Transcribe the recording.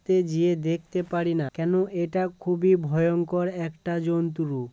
দেখতে জিয়ে দেখতে পারি না কেন এটা খুবই ভয়ংকর একটা জন্ত্রু ।